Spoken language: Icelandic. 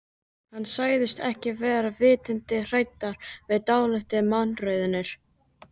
Hann sagðist ekki vera vitund hræddur við dálitlar mannraunir.